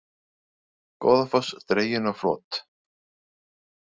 Goðafoss dreginn á flot